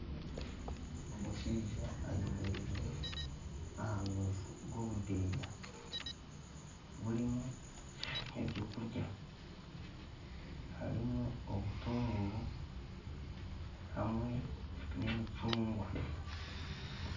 Omushaija ayemereire aha rubaju rw'obudeeya burimu eby'okurya harimu obutuunguru hamwe n'emicungwa.